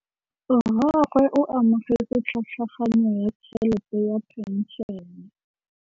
Rragwe o amogetse tlhatlhaganyô ya tšhelête ya phenšene.